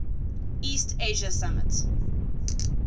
east asia summit